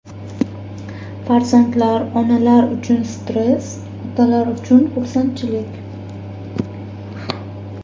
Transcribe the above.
Farzandlar: onalar uchun stress, otalar uchun xursandchilik.